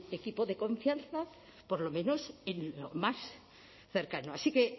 equipo de confianza por lo menos en lo más cercano así que